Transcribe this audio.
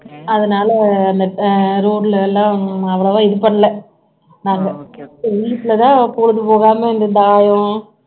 அதனால அந்த road ல எல்லாம் அவ்வளவா இது பண்ணலை நாம்ப வீட்லதான் பொழுது போகாம இந்த தாயம்